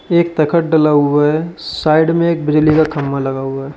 एक तखत डला हुआ है साइड में एक बिजली का खंभा लगा हुआ--